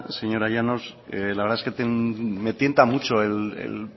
señora llanos la verdad es que me tienta mucho el